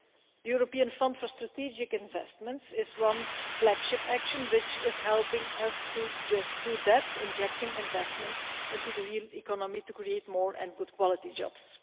The European fund for Strategic Investments is one flagship action which is helping us to do just that, injecting investment into the real economy to create more and good quality jobs.